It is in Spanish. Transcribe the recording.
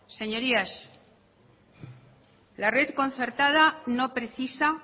señorías la red concertada no precisa